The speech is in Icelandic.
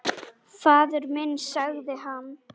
Faðir minn, sagði hann.